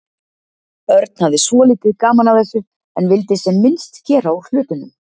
Örn hafði svolítið gaman af þessu en vildi sem minnst gera úr hlutunum.